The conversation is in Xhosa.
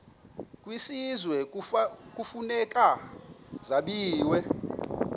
kwisizwe kufuneka zabiwe